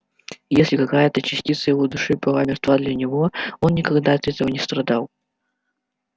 и если какая-то частица его души была мертва для него он никогда от этого не страдал